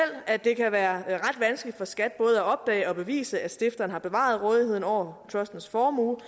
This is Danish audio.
at det kan være ret vanskeligt for skat både at opdage og bevise at stifteren har bevaret rådigheden over trustens formue